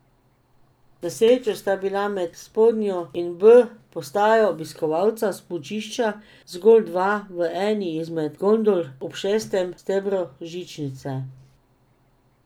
Na srečo sta bila med spodnjo in B postajo obiskovalca smučišča zgolj dva v eni izmed gondol ob šestem stebru žičnice.